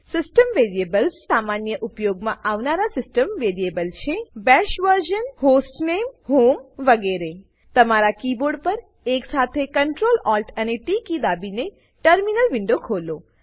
system variables અરે સામાન્ય ઉપયોગમાં આવનારા સીસ્ટમ વેરીએબલ છે BASH VERSION hostname home ETC તમારા કીબોર્ડ પર એક સાથે Ctrl Alt અને ટી કી દાબીને ટર્મિનલ વિન્ડો ખોલો